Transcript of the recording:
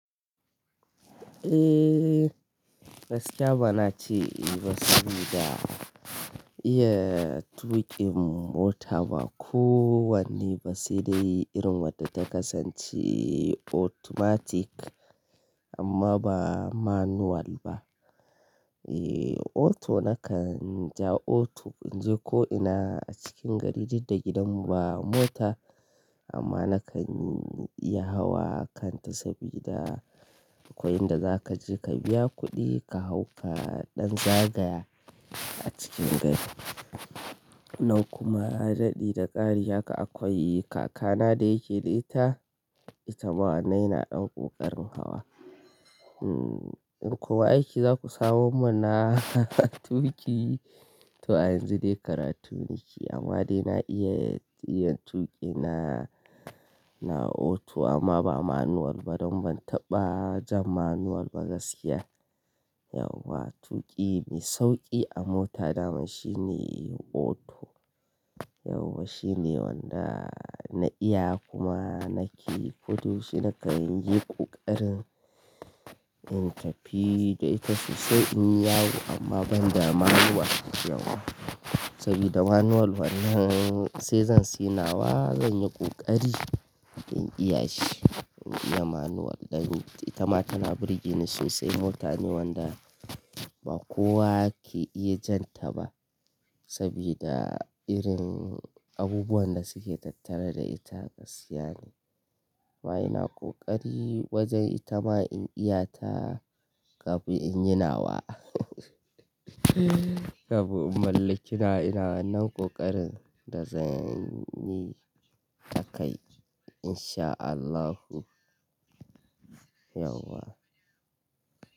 Eh gaskiya ba na ce ba saboda iya tuƙin mota ba kowanne ba sai dai irin wadda ta kasance automatic amma ba manual ba. Eh auto nakan ja auto in je ko ina a cikin gari duk da gidan mu ba mota amma na kan iya hawa kanta sabida akwai inda za ka je ka biya kuɗi ka hau ka ɗan zagaya a cikin gari. Nan kuma haɗi da ƙari haka akwai kaka na da yake da ita, ita ma anan yana ɗan ƙoƙarin hawa. Ko aiki za ku samo mun na tuƙi to a yanzu dai karatu nike amma dai na iya tuƙi na auto amma ba manual ba don ban taɓa jan manual ba gaskiya. Yauwa tuƙi mai sauƙi a mota dama shine auto. Yauwa shine wanda na iya kuma nake koyo shine kan yi ƙoƙarin in tafi da ita sosai in yawo amma ban da manual yauwa sabida manual wannan sai zan siyanawa zan yi ƙoƙari in iya shi. In iya manual dan ita ma tana birni sosai mota ne wanda ba kowa ke iya jan ta ba sabida irin abubuwan da suke tattare da ita gaskiya ne. Amma ina ƙoƙari wajen ita ma in iya ta kafin in yi nawa. Kafin in mallaki na ina wannan ƙoƙarin da zan yi takai in sha Allahu yauwa.